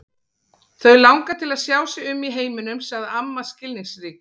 Þau langar til að sjá sig um í heiminum sagði amma skilningsrík.